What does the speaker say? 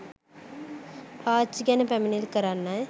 ආච්චි ගැන පැමිණිලි කරන්නයි